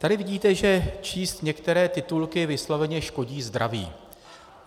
Tady vidíte, že číst některé titulky vysloveně škodí zdraví.